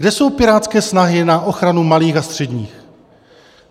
Kde jsou pirátské snahy na ochranu malých a středních?